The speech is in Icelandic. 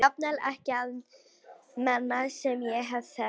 Jafnvel ekki við menn sem ég hef þekkt lengi.